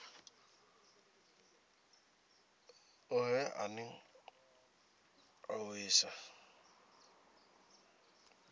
ohe ane a oea sa